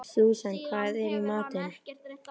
Súsan, hvað er í matinn?